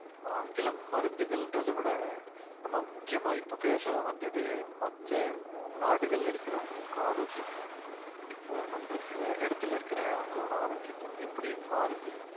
ஆங்கிலம் மருந்துகள்ன்றதை விட நம்ம முக்கியமா இப்ப பேசுறது மத்த நாடுகள்ல இருக்கிறவங்களுக்கு ஆரோக்கியமும் இப்போ நம்ம இருக்கிற இடத்திலே இருக்கிற அவங்களோட ஆரோக்கியத்தையும் எப்படி மாறுது